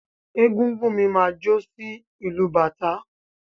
Egúngún mi máa jó sí ìlù bàtá.